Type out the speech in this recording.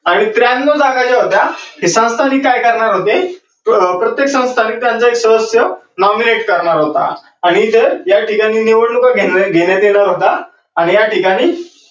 आणि त्र्यान्नौ जागा ज्या होत्या ते संस्थानिक काय करणार होते प्रत्येक संस्थानिकांचा एक सदस्य nominate करणार होता आणि तो या ठिकाणी निवडणुका घेण्यात येणार होत्या आणि या ठिकाणी